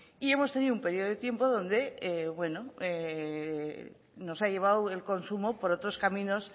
y hemos tenido un periodo de tiempo donde nos ha llevado el consumo por otros caminos